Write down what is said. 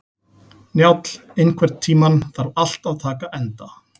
Njáll, einhvern tímann þarf allt að taka enda.